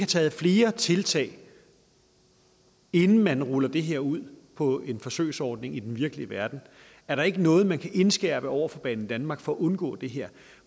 taget flere tiltag inden man ruller det her ud på en forsøgsordning i den virkelige verden er der ikke noget man kan indskærpe over for banedanmark for at undgå det her